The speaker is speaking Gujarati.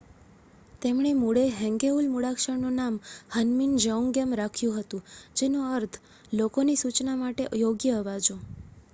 "તેમણે મૂળે હેંગેઉલ મૂળાક્ષરનું નામ હન્મિન જેઓન્ગિયમ રાખ્યું હતું, જેનો અર્થ "લોકોની સૂચના માટે યોગ્ય અવાજો"".